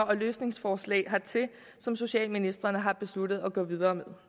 og løsningsforslag hertil som socialministrene har besluttet at gå videre med